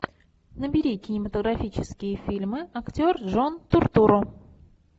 набери кинематографические фильмы актер джон туртурро